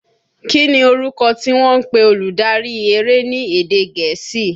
Kí ni orúkọ tí wọ́n ń pe olùdarí eré ni èdè gẹ̀ẹ́sì?